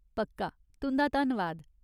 पक्का, तुं'दा धन्नवाद।